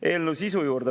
Eelnõu sisu juurde.